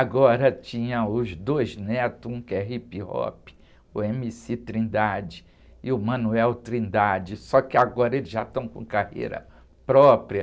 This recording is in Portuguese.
Agora tinha os dois netos, um que é hip-hop, o eme-cí Trindade e o Manuel Trindade, só que agora eles já estão com carreira própria,